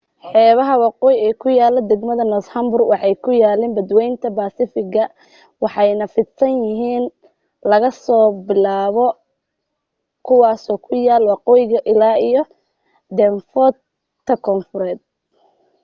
xeebaha waqooyi ee ku yaal degmada north harbour waxay ku yaaliin badwaynta baasifiga waxaanay fidsan yihiin laga soo long bay da ku taal waqooyiga ilaa devonport ta koonfureed